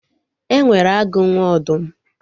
E nwere agụ nwe ọdụm